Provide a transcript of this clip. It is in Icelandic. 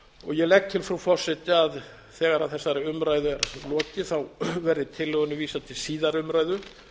ég legg til frú forseti að þegar þessari umræðu er lokið verði tillögunni vísað til síðari umræðu